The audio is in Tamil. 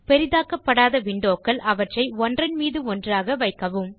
பெரிதாக்கப்படாத windowகள் -அவற்றை ஒன்றன் மீது ஒன்றாக வைக்கவும்